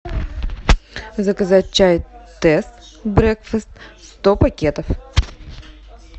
заказать чай тесс брекфаст сто пакетов